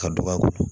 Ka dɔgɔ a kɔrɔ